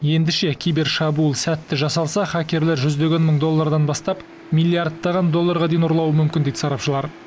ендеше кибершабуыл сәтті жасалса хакерлер жүздеген мың доллардан бастап миллиардтаған долларға дейін ұрлауы мүмкін дейді сарапшылар